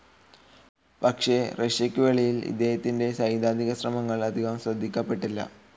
പക്ഷേ റഷ്യക്കുവെളിയിൽ ഇദ്ദേഹത്തിൻ്റെ സൈദ്ധാന്തികശ്രമങ്ങൾ അധികം ശ്രദ്ധിക്കപ്പെട്ടില്ല.